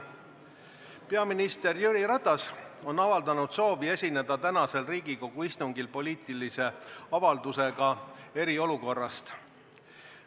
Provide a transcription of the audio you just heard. Peaminister Jüri Ratas on avaldanud soovi esineda tänasel Riigikogu istungil poliitilise avaldusega eriolukorra kohta.